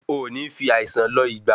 O nì fi àìsàn lọ̀ ìgbà